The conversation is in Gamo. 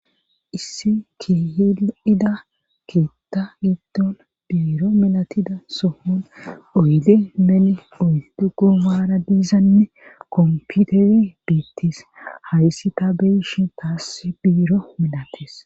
Issi kihi7ida ketta yidon biiro milatida sohon oyde meni uldugu maara diizanne komputere biittis hayssi ta beyshen taassi biiro milates.